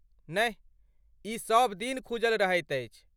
नहि, ई सभ दिन खूजल रहैत अछि।